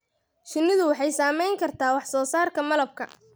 Shinnidu waxay saameyn kartaa wax soo saarka malabka.